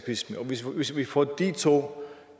eskapisme og hvis vi får disse to